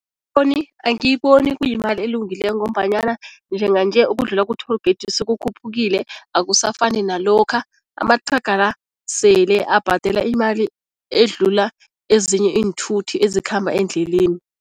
Angiyiboni kuyimali elungileko ngombanyana njenganje ukudlula ku-toll gate sekukhuphukile, akusafani nalokha. Amathraga la sele abhadela imali edlula ezinye iinthuthi ezikhamba endleleni.